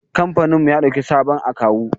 Kamfaninmu ya ɗauki sabon akawu.